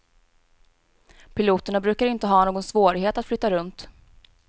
Piloterna brukar inte ha någon svårighet att flytta runt.